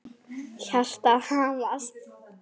Hjartað hamast.